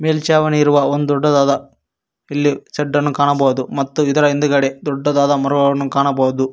ಮೇಲ್ಚಣಿ ಇರುವ ಒಂದು ದೊಡ್ಡದಾದ ಇಲ್ಲಿ ಶಡ್ಡ ನ್ನು ಕಾಣಬಹುದು ಮತ್ತು ಇಲ್ಲಿ ಹಿಂದುಗಡೆ ಮರವನ್ನು ಕಾಣಬಹುದು.